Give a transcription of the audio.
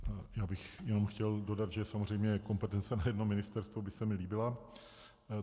Já bych jenom chtěl dodat, že samozřejmě kompetence na jedno ministerstvo by se mi líbila.